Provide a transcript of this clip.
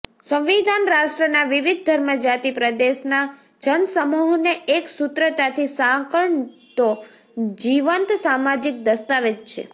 સંવિધાન રાષ્ટ્રના વિવિધ ધર્મ જાતિ પ્રદેશના જનસમુહને એક સૂત્રતાથી સાંકળતો જીવંત સામાજીક દસ્તાવેજ છે